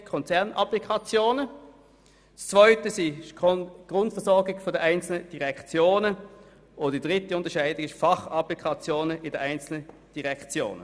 Die anderen betreffen die Grundversorgung der einzelnen Direktionen, und die dritte Kategorie betrifft die Fachapplikationen in den einzelnen Direktionen.